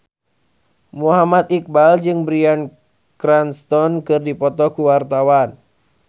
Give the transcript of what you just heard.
Muhammad Iqbal jeung Bryan Cranston keur dipoto ku wartawan